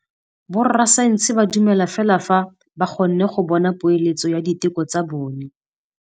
Borra saense ba dumela fela fa ba kgonne go bona poeletsô ya diteko tsa bone.